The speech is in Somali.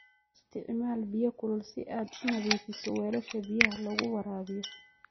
Isticmaal biyo kulul si aad u nadiifiso weelasha biyaha lagu waraabiyo.